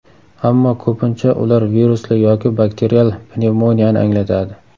Ammo ko‘pincha ular virusli yoki bakterial pnevmoniyani anglatadi.